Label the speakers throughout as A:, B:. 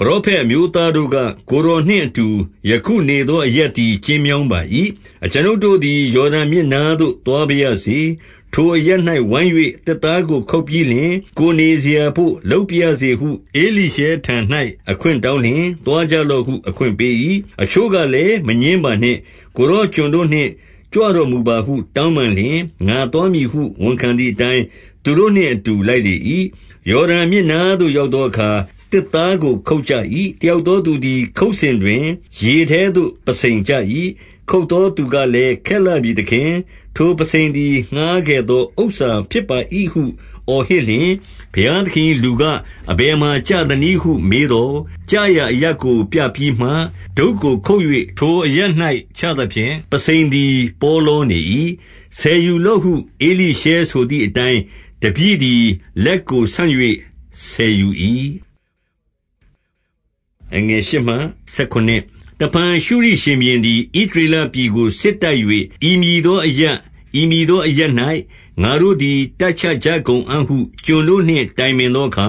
A: ပရောဖက်အမျိုးသားတို့က၊ ကိုယ်တော်နှင့်အတူ ယခုနေသော အရပ်သည် ကျဉ်းမြောင်းပါ၏။ 2 အကျွန်ုပ်တို့သည် ယော်ဒန်မြစ်နားသို့ သွားပါ ရစေ။ ထိုအရပ်၌ဝိုင်း၍ သစ်သားကိုခုတ်ပြီးလျှင်၊ ကိုယ်နေစရာဘို့ လုပ်ပါရစေဟု ဧလိရှဲထံ၌ အခွင့်တောင်း လျှင်၊ သွားကြလော့ဟု အခွင့်ပေး၏။ 3 အချို့ကလည်း မငြင်းပါနှင့်။ ကိုယ်တော် ကျွန် တို့နှင့် ကြွတော်မူပါဟု တောင်းပန်လျှင်၊ ငါသွားမည်ဟု ဝန်ခံသည်အတိုင်း၊ 4 သူတို့နှင့်အတူ လိုက်လေ၏။ ယော်ဒန်မြစ်နား သို့ ရောက်သောအခါ သစ်သားကိုခုတ်ကြ၏။ 5 တယောက်သောသူသည် ခုတ်စဉ်တွင်၊ ရေထဲသို့ ပုဆိန်ကျ၏။ ခုတ်သောသူကလည်း၊ ခက်လှပြီသခင်။ ထိုပုဆိန်သည် ငှါးခဲ့သောဥစ္စာ ဖြစ်ပါ၏ဟု အော်ဟစ် လျှင်၊ 6 ဘုရားသခင်၏လူက၊ အဘယ်မှာ ကျသနည်းဟု မေးသော်၊ ကျရာအရပ်ကိုပြပြီးမှ၊ ဒုတ်ကိုခုတ်၍ ထိုအရပ်၌ချသဖြင့် ပုဆိန်သည် ပေါလောနေ၏။ 7 ဆယ်ယူလော့ဟု ဧလိရှဲဆိုသည်အတိုင်း၊ တပည့် သည် လက်ကို ဆန့်၍ ဆယ်ယူ၏။ 8 တဖန် ရှုရိရှင်ဘုရင်သည် ဣသရေလပြည်ကို စစ်တိုက်၍၊ ဤမည်သောအရပ်၊ ဤမည်သောအရပ်၌ ငါတို့သည် တပ်ချကြ ကုန်အံ့ဟု ကျွန်တို့နှင့် တိုင်ပင်သောအခါ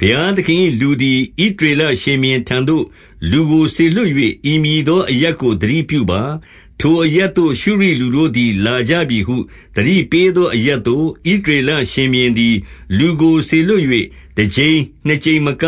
A: ၊ 9 ဘုရားသခင်၏လူသည် ဣသရေလရှင်ဘုရင် ထံသို့ လူကိုစေလွှတ်၍၊ဤမည်သောအရပ်ကို သတိပြုပါ။ ထိုအရပ်သို့ ရှုရိလူတို့သည် လာကြပြီဟု၊ 10 သတိပေးသောအရပ်သို့ ဣသရေလရှင်ဘုရင် သည် လူကိုစေလွှတ်၍ တကြိမ်နှစ်ကြိမ်မက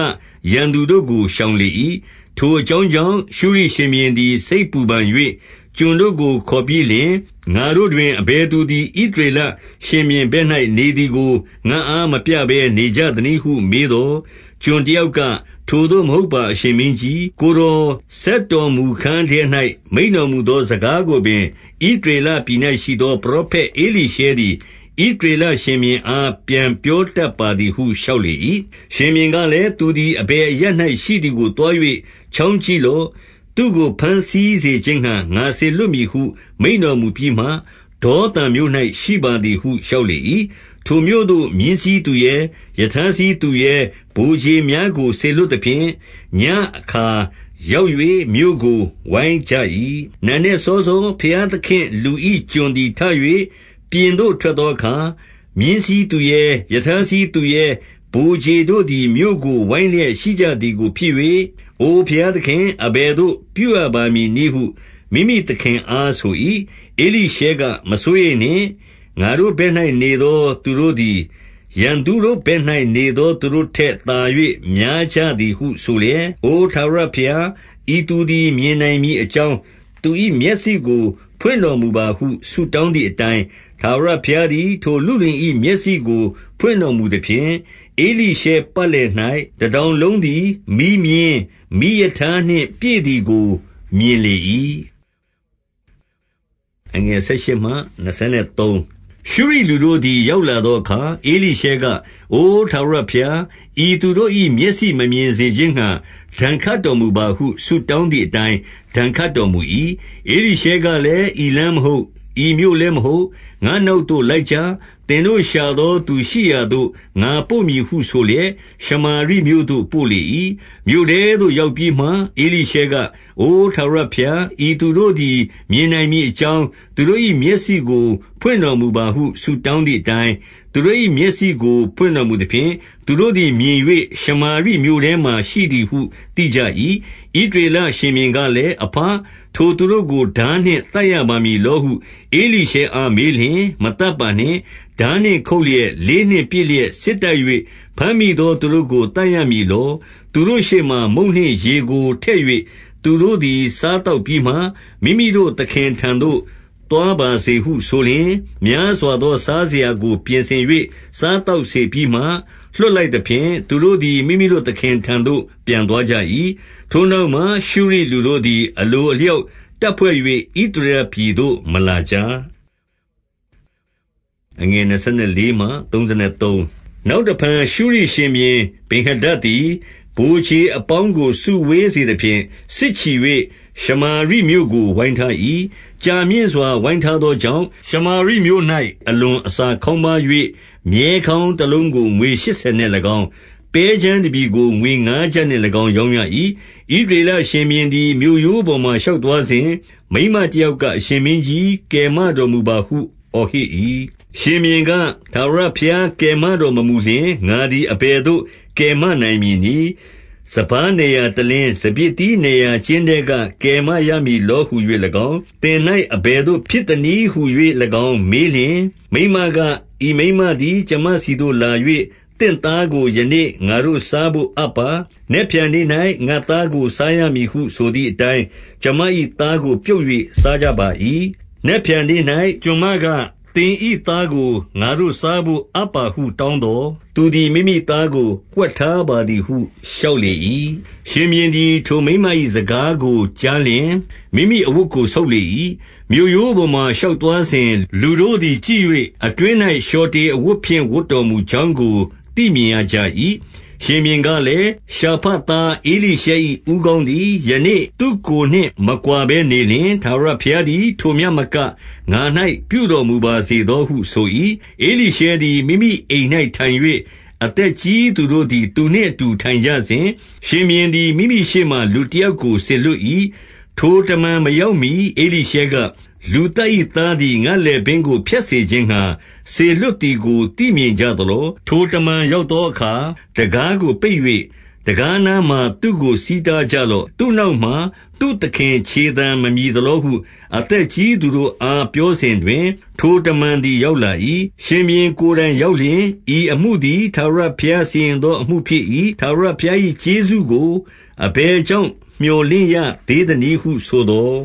A: ရန်သူတို့ကို ရှောင်လေ၏။ 11 ထိုအကြောင်းကြောင့် ရှုရိရှင်ဘုရင်သည် စိတ် ပူပန်၍ ကျွန်တို့ကို ခေါ်ပြီးလျှင်၊ ငါတို့တွင် အဘယ်သူ သည် ဣသရေလရှင်ဘုရင်ဘက်၌ နေသည်ကို ငါ့အား မပြဘဲနေကြသနည်းဟုမေးသော်၊ 12 ကျွန်တယောက်က၊ ထိုသို့မဟုတ်ပါ အရှင် မင်းကြီး၊ ကိုယ်တော်စက်တော်မူခန်းထဲ၌ မိန့်တော်မူသော စကားကိုပင်၊ ဣသရေလပြည်၌ရှိသော ပရောဖက်ဧလိရှဲ သည်၊ ဣသရေလရှင်ဘုရင်အား ပြန်ပြောတတ်ပါသည် ဟု လျှောက်လေ၏။ 13 ရှင်ဘုရင်ကလည်း၊ သူသည်အဘယ်အရပ်၌ ရှိသည်ကို သွား၍ ချောင်းကြည့်လော့။ သူ့ကို ဘမ်းဆီး စေခြင်းငှါ ငါစေလွှတ်မည်ဟု မိန့်တော်မူပြီးမှ၊ ဒေါသန်မြို့ ၌ ရှိပါသည်ဟု လျှောက်လေ၏။ 14 ထိုမြို့သို့မြင်းစီးသူရဲ၊ ရထားစီးသူရဲ၊ ဗိုလ်ခြေများ ကို စေလွှတ်သဖြင့်၊ ညဉ့်အခါရောက်၍ မြို့ကိုဝိုင်းကြ၏။ 15 နံနက် စောစောဘုရားသခင့်လူ၏ ကျွန်သည် ထ၍ ပြင်သို့ ထွက်သောအခါ၊ မြင်းစီးသူရဲ၊ ရထားစီးသူရဲ၊ ဗိုလ်ခြေတို့သည် မြို့ကို ဝိုင်းလျက်ရှိကြသည်ဖြစ်၍၊ အိုသခင်၊ အဘယ်သို့ ပြုရပါမည်နည်းဟု မိမိသခင်အား ဆို၏။ 16 ဧလိရှဲကမစိုးရိမ်နှင့်။ ငါတို့ဘက်၌ နေသော သူတို့သည် ရန်သူတို့ဘက်၌ နေသောသူတို့ထက်သာ၍ များကြသည်ဟု ဆိုလျက်၊ 17 အိုထာဝရဘုရား၊ ဤသူသည် မြင်နိုင်မည် အကြောင်း သူ၏မျက်စိကို ဖွင့်တော်မူပါဟု ဆုတောင်း သည်အတိုင်း၊၊ ထာဝရဘုရားသည် ထိုလုလင်၏ မျက်စိကို ဖွင့်တော်မူသဖြင့်၊ ဧလိရှဲပတ်လည်၌ တတောင်လုံး သည်မီးမြင်း၊ မီးရထားနှင့်ပြည့်သည်ကို မြင်လေ၏။ 18 ရှုရိလူတို့သည် ရောက်လာသောအခါ၊ ဧလိရှဲက၊ အိုထာဝရ ဘုရား၊ ဤသူတို့၏ မျက်စိမမြင်စေခြင်းငှါ၊ ဒဏ်ခတ်တော်မူပါဟု ဆုတောင်းသည်အတိုင်း၊ ဒဏ်ခတ် တော်မူ၏။ 19 ဧလိရှဲကလည်း၊ ဤလမ်းမဟုတ်။ ဤမြို့လည်း မဟုတ်။ ငါ့နောက်သို့လိုက်ကြ။ သင်တို့ရှာသောသူရှိရာသို့ ငါပို့မည်ဟု ဆိုလျက်ရှမာရိမြို့သို့ ပို့လေ၏။ 20 မြို့ထဲသို့ရောက်ပြီးမှ ဧလိရှဲက၊ အိုထာဝရဘုရား၊ ဤသူတို့သည် မြင်နိုင်မည်အကြောင်း သူတို့၏ မျက်စိကို ဖွင့်တော်မူပါဟု ဆုတောင်းသည်အတိုင်း၊ သူတို့၏မျက်စိ ကို ဖွင့်တော်မူသဖြင့်၊ သူတို့သည် မြင်၍ ရှမာရိ မြို့ထဲမှာ ရှိသည်ဟု သိကြ၏။ 21 ဣသရေလရှင်ဘုရင်ကလည်း၊ အဘ၊ ထိုသူတို့ကိုထားနှင့် သတ်ရပါမည်လောဟု ဧလိရှဲအားမေးလျှင်၊ 22 မသတ်ပါနှင့်။ ထားနှင့်ခုတ်လျက်၊ လေးနှင့် ပစ်လျက်စစ်တိုက်၍ ဘမ်းမိသောသူတို့ကို သတ်ရမည် လော။ သူတို့ရှေ့မှာ မုန့်နှင့်ရေကိုထည့် ၍သူတို့သည် စားသောက်ပြီးမှ၊ မိမိတို့သခင်ထံသို့ သွားပါစေဟု ဆိုလျှင်၊ 23 များစွာသော စားစရာကို ပြင်ဆင်၍ စား သောက်စေပြီးမှ လွှတ်လိုက်သဖြင့်၊ သူတို့သည် မိမိတို့ သခင်ထံသို့ ပြန်သွားကြ၏။ ထိုနောက်မှ ရှုရိလူတို့သည် အလိုအလျောက်တပ်ဖွဲ့၍ ဣသရေလပြည်သို့ မလာကြ။ 24 နောက်တဖန်ရှုရိရှင်ဘုရင် ဗင်္ဟာဒဒ်သည် ဗိုလ်ခြေအပေါင်းကို စုဝေးစေသဖြင့် စစ်ချီ၍ ရှမာရိမြို့ကို ဝိုင်းထား၏။ 25 ကြာမြင့်စွာဝိုင်းထားသောကြောင့်၊ ရှမာရိမြို့၌ အလွန်အစာခေါင်းပါး၍၊ မြည်းခေါင်းတလုံးကို ငွေ ရှစ်ဆယ်နှင့်၎င်း၊ ပဲကြမ်းတပြည်ကို ငွေငါးကျပ်နှင့်၎င်း ရောင်းရ၏။ 26 ဣသရေလရှင်ဘုရင်သည် မြို့ရိုးပေါ်မှာ ရှောက်သွားစဉ်၊ မိန်းမတယောက်ကအရှင်မင်းကြီး၊ ကယ်မတော်မူပါဟု အော်ဟစ်၏။ 27 ရှင်ဘုရင်က၊ ထာဝရဘုရားကယ်မတော်မမူ လျှင်၊ ငါသည် အဘယ်သို့ ကယ်မနိုင်မည်နည်း။ စပါးနယ်ရာတလင်း၊ စပျစ်သီးနယ်ရာ ကျင်းထဲက ကယ်မနိုင်မည်လောဟူ၍၎င်း၊ 28 သင်၌ အဘယ်သို့ ဖြစ်သနည်းဟူ၍၎င်း မေးလျှင်၊ မိန်းမက၊ ဤမိန်းမသည်ကျွန်မဆီသို့လာ၍၊ သင့်သားကို ယနေ့ငါတို့စားဘို့အပ်ပါ။ နက်ဖြန်နေ့၌ ငါ့သားကို စားရမည်ဟုဆိုသည်အတိုင်း၊ 29 ကျွန်မ၏သားကို ပြုတ်၍စားကြပါ၏။ နက်ဖြန် နေ့၌ ကျွန်မက၊ သင်၏သားကို ငါတို့စားဘို့ အပ်ပါဟု တောင်းသော်၊ သူသည် မိမိသားကို ဝှက်ထားပါသည်ဟု လျှောက်လေ၏။ 30 ရှင်ဘုရင်သည် ထိုမိန်းမ၏စကားကို ကြားလျှင်၊ မိမိအဝတ်ကို ဆုတ်လေ၏။ မြို့ရိုးပေါ်မှာ ရှောက်သွားစဉ် လူတို့သည်ကြည့်၍၊ အတွင်း၌ လျှော်တေအဝတ်ဖြင့် ဝတ်တော်မူကြောင်းကိုသိမြင်ရကြ၏။ 31 ရှင်ဘုရင်ကလည်း၊ ရှာဖတ်သားဧလိရှဲ၏ ဦးခေါင်းသည် ယနေ့ သူ့ကိုယ်နှင့် မကွာဘဲနေလျှင်၊ ထာဝရဘုရားသည် ထိုမျှမက၊ ငါ၌ပြုတော်မူပါစေသော ဟု ဆို၏။ 32 ဧလိရှဲသည် မိမိအိမ်၌ထိုင်၍ အသက်ကြီးသူတို့ သည် သူနှင့်အတူ ထိုင်ကြစဉ်၊ ရှင်ဘုရင်သည် မိမိရှေ့မှာ လူတယောက်ကို စေလွှတ်၏။ ထိုတမန်မရောက်မှီ ဧလိရှဲက၊ လူသတ်၏သားသည် ငါ့လည်ပင်းကို ဖြတ်စေ ခြင်းငှါ၊ စေလွှတ်သည်ကို သိမြင်ကြသလော။ ထိုတမန် ရောက်သောအခါ၊ တံခါးကိုပိတ်၍၊ တံခါးနားမှာသူ့ကို ဆီးတားကြလော့။ သူ့နောက်မှာသူ့သခင် ခြေသံမမြည် သလောဟု၊ 33 အသက်ကြီးသူတို့အား ပြောစဉ်တွင်၊ ထိုတမန် သည် ရောက်လာ၏။ ရှင်ဘုရင်ကိုယ်တိုင် ရောက်လျှင်၊ ဤအမှုသည် ထာဝရဘုရားစီရင်သော အမှုဖြစ်၏။ ထာဝရဘုရားကျေးဇူးကို အဘယ်ကြောင့် မြော်လင့် ရသေးသနည်းဟုဆိုသော်